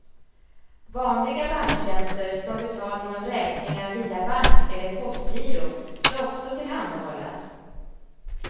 Vanliga banktjänster som betalning av räkningar via bank eller postgiro ska också tillhandahållas.